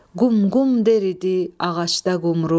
Qum qum der idi ağacda qumru,